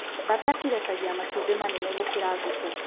Bata cirekagia matumbĩ manene gũkĩra ngũkũ.